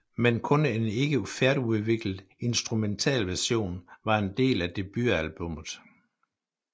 Men kun en ikke færdigudviklet instrumentalversion var en del af debutalbummet